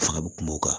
Fanga bɛ kuma o kan